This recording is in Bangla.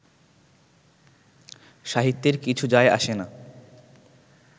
সাহিত্যের কিছু যায়-আসে না